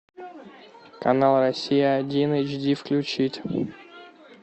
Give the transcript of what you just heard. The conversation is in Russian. канал россия один эйч ди включить